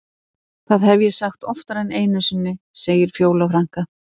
Það hef ég sagt oftar en einu sinni, segir Fjóla frænka.